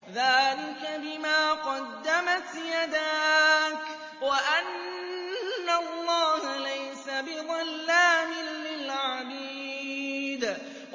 ذَٰلِكَ بِمَا قَدَّمَتْ يَدَاكَ وَأَنَّ اللَّهَ لَيْسَ بِظَلَّامٍ لِّلْعَبِيدِ